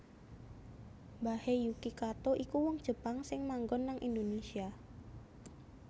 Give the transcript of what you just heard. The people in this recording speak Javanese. Mbahe Yuki Kato iku wong Jepang sing manggon nang Indonesia